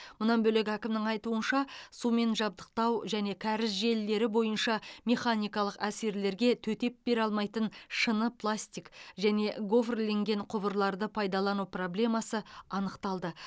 мұнан бөлек әкімнің айтуынша сумен жабдықтау және кәріз желілері бойынша механикалық әсерлерге төтеп бере алмайтын шыны пластик және гофрленген құбырларды пайдалану проблемасы анықталды